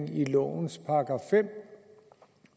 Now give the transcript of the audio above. i lovens § fem